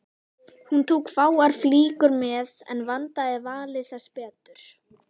Hún tók fáar flíkur með en vandaði valið þess betur.